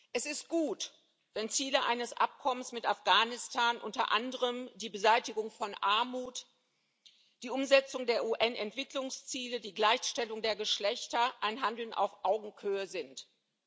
Herr Präsident! Es ist gut, wenn Ziele eines Abkommens mit Afghanistan unter anderem die Beseitigung von Armut, die Umsetzung der UN-Entwicklungsziele, die Gleichstellung der Geschlechter ein Handeln auf Augenhöhe mit sich bringen.